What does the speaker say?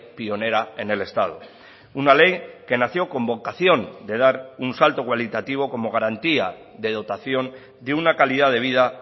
pionera en el estado una ley que nació con vocación de dar un salto cualitativo como garantía de dotación de una calidad de vida